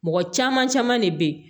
Mɔgɔ caman caman de bɛ yen